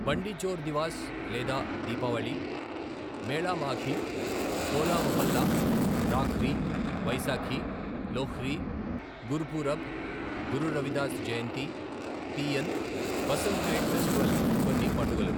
బండి చోర్ దివాస్ లేదా Deepavali , Mela Maghi, Hola Mohalla, Rakhri, Vaisakhi, Lohri, Gurpurab, Guru Ravidas Jayanti, Teeyan, Basant kite festival కొన్ని పండుగలు.